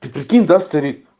ты прикинь да старик